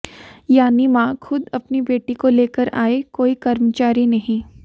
यानि मां खुद अपनी बेटी को लेकर आये कोई कर्म चारी नही